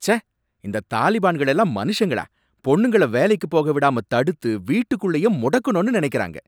ச்ச! இந்த தாலிபான்கள் எல்லாம் மனுஷங்களா? பொண்ணுங்கள வேலைக்கு போக விடாம தடுத்து வீட்டுக்குள்ளயே முடக்கணும்னு நினைக்கறாங்க.